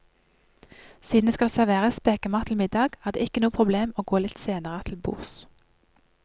Siden det skal serveres spekemat til middag, er det ikke noe problem å gå litt senere til bords.